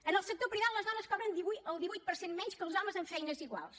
en el sector privat les dones cobren el divuit per cent menys que els homes en feines iguals